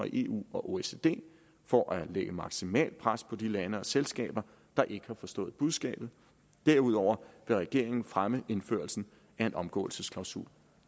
i eu og oecd for at lægge maksimalt pres på de lande og selskaber der ikke har forstået budskabet derudover vil regeringen fremme indførelsen af en omgåelsesklausul